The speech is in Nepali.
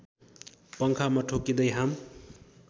पङ्खामा ठोक्किँदै हाम